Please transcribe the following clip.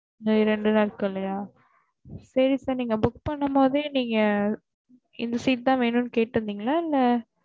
இன்னும் ரெண்டு நாள்கள்லையா செரி sir நீங்க book பண்ணும் போதே நீங்க இந்த seat தான் வேணும்ன்னு கேட்டுருந்தேங்களா இல்ல